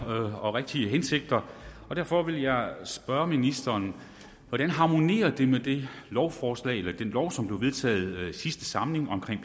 og rigtige hensigter og derfor vil jeg spørge ministeren hvordan harmonerer det med det lovforslag eller den lov som blev vedtaget i sidste samling om